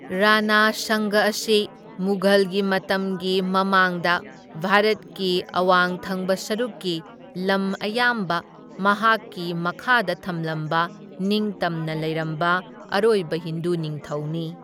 ꯔꯥꯅꯥ ꯁꯪꯒ ꯑꯁꯤ ꯃꯨꯘꯜꯒꯤ ꯃꯇꯝꯒꯤ ꯃꯃꯥꯡꯗ ꯚꯥꯔꯠꯀꯤ ꯑꯋꯥꯡꯊꯪꯕ ꯁꯔꯨꯛꯀꯤ ꯂꯝ ꯑꯌꯥꯝꯕ ꯃꯍꯥꯛꯀꯤ ꯃꯈꯥꯗ ꯊꯝꯂꯝꯕ ꯅꯤꯡꯇꯝꯅ ꯂꯩꯔꯝꯕ ꯑꯔꯣꯢꯕ ꯍꯤꯟꯗꯨ ꯅꯤꯡꯊꯧꯅꯤ꯫